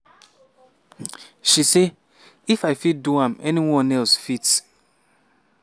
she say "if i fit do am anyone else fit."